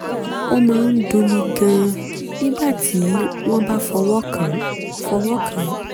ó máa ń dunni gan-an nígbà tí wọ́n bá fọwọ́ kàn án fọwọ́ kàn án